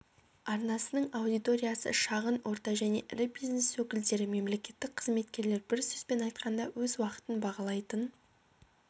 арнасының аудиториясы шағын орта және ірі бизнес өкілдері мемлекеттік қызметкерлер бір сөзбен айтқанда өз уақытын бағалайтын